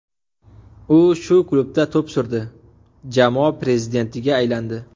U shu klubda to‘p surdi, jamoa prezidentiga aylandi.